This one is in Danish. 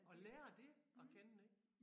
Og lære det at kende ik